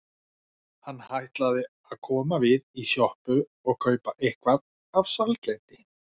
Hann ætlaði að koma við í sjoppu og kaupa eitthvað af sælgæti.